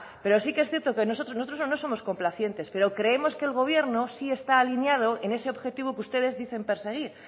pero sí que es cierto que nosotros no somos complacientes pero creemos que el gobierno sí está alineado en ese objetivo que ustedes dicen perseguir